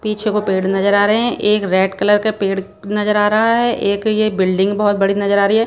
पीछे को पेड़ नजर आ रहे हैं एक रेड कलर का पेड़ नजर आ रहा है एक ये बिल्डिंग बहुत बड़ी नजर आ रही है।